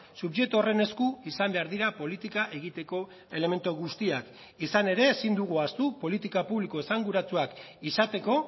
subjektu horren esku izan behar dira politika egiteko elementu guztiak izan ere ezin dugu ahaztu politika publiko esanguratsuak izateko